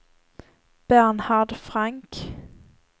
Bernhard Frank